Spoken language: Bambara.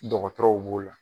Dɔgɔtɔrɔw b'o la.